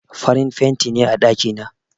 Farin fenti ne a ɗaki na.